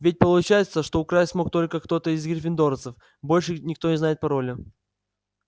ведь получается что украсть мог только кто-то из гриффиндорцев больше никто не знает пароля